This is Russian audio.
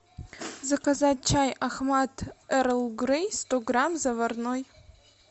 заказать чай ахмад эрл грей сто грамм заварной